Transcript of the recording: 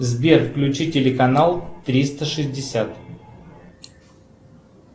сбер включи телеканал триста шестьдесят